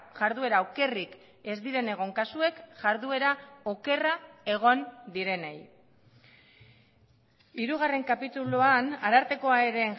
jarduera okerrik ez diren egon kasuek jarduera okerra egon direnei hirugarren kapituluan arartekoa ere